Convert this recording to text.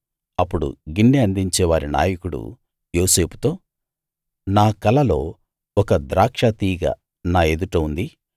అప్పుడు గిన్నె అందించేవారి నాయకుడు యోసేపుతో నా కలలో ఒక ద్రాక్షతీగ నా ఎదుట ఉంది